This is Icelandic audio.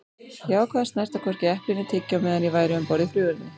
Ég ákvað að snerta hvorki epli né tyggjó meðan ég væri um borð í flugvélinni.